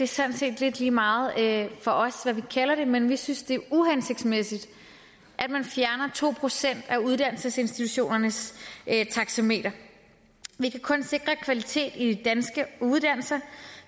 sådan set lidt lige meget for os hvad vi kalder det men vi synes det er uhensigtsmæssigt at man fjerner to procent af uddannelsesinstitutionernes taxameter vi kan kun sikre kvalitet i de danske uddannelser